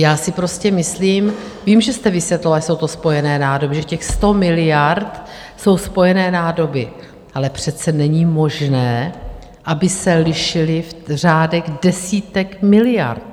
Já si prostě myslím - vím, že jste vysvětloval, že jsou to spojené nádoby, že těch 100 miliard jsou spojené nádoby - ale přece není možné, aby se lišily v řádech desítek miliard.